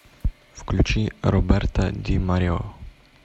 включи роберта ди марио